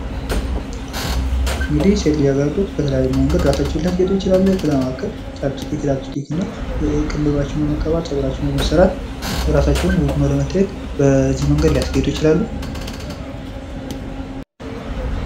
እንግዲህ ሴት ልጃገረዶች በተለያየ መንገድ እራሳቸውን ሊያስጌጡ ይችላሉ። ከዛ መካከል ቻፕ እስቲክ፣ ሊፕ እስቲክ፣ ቅንድባቸውን በመቀባት ፀጉራቸውን በመሰራት እራሳቸውን ውብ ሁነው ለመታዬት በዚህ መንገድ ሊያስጌጡ ይችላሉ።